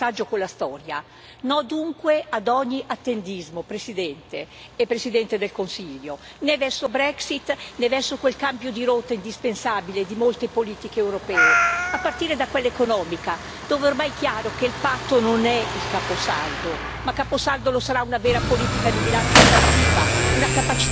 Diciamo no, dunque, ad ogni attendismo, Presidente e Presidente del Consiglio, verso Brexit e verso quel cambio di rotta indispensabile di molte politiche europee, a partire da quella economica, dove è ormai chiaro che il patto non è il caposaldo, ma caposaldo lo sarà una vera politica di bilancio espansiva, una capacità fiscale dell'Unione.